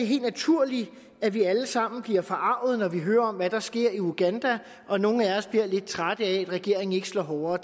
helt naturligt at vi alle sammen bliver forarget når vi hører om hvad der sker i uganda og nogle af os bliver lidt trætte af at regeringen ikke slår hårdere